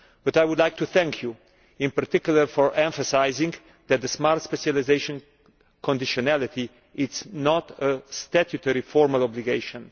But I would like to thank you in particular for emphasising that the smart specialisation conditionality is not a statutory formal obligation.